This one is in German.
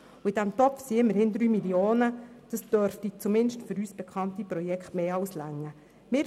In diesem Topf befinden sich aber immerhin 3 Mio. Franken, was zumindest für die uns bekannten Projekte mehr als genügen würde.